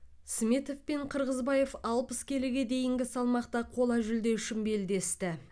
сметов пен қырғызбаев алпыс келіге дейінгі салмақта қола жүлде үшін белдесті